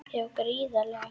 Já gríðarlega.